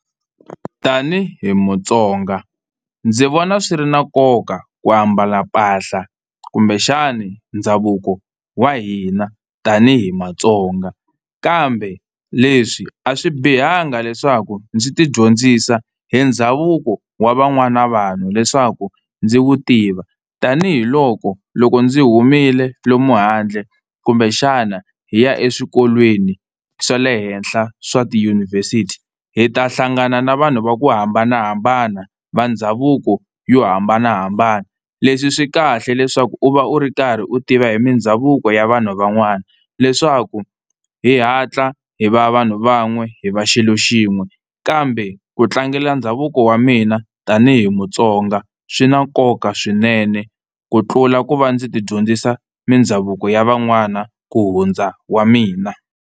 Tani hi Mutsonga ndzi vona swi ri na nkoka ku ambala mpahla kumbexani ndhavuko wa hina tani hi Matsonga, kambe leswi a swi bihanga leswaku ndzi tidyondzisa hi ndhavuko wa van'wana vanhu leswaku ndzi wu tiva tanihiloko loko ndzi humile lomu handle kumbexana hi ya eswikolweni swa le henhla swa tiyunivhesiti hi ta hlangana na vanhu va ku hambanahambana va ndhavuko yo hambanahambana. Leswi swi kahle leswaku u va u ri karhi u tiva hi mindhavuko ya vanhu van'wana leswaku hi hatla hi va vanhu van'we hi va xilo xin'we. Kambe ku tlangela ndhavuko wa mina tani hi Mutsonga swi na nkoka swinene ku tlula ku va ndzi tidyondzisa mindhavuko ya van'wana ku hundza wa mina.